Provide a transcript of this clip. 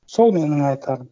сол менің айтарым